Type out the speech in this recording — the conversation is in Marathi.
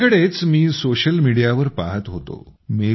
अलिकडेच मी सोशल मीडियावर पाहत होतो